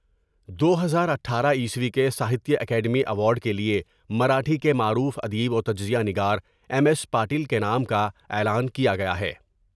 دو ہزار اٹھارہ کے ساہتیہ اکیڈمی ایوارڈ کیلئے مراٹھی کے معروف ادیب و تجزیہ نگار ایم ایس پاٹل کے نام کا اعلان کیا گیا ہے ۔